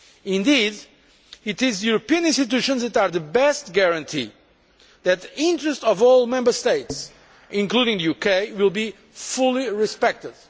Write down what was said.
Indeed, it is the European institutions that are the best guarantee that the interests of all Member States, including the UK, will be fully respected.